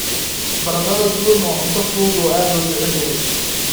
Baradhada duban waa cunto fudud oo aad loo jecel yahay.